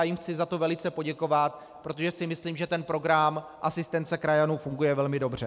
Já jim chci za to velice poděkovat, protože si myslím, že ten program asistence krajanů funguje velmi dobře.